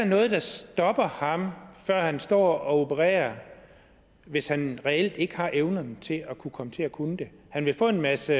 noget der stopper ham før han står og opererer hvis han reelt ikke har evnerne til at kunne komme til at kunne det han vil få en masse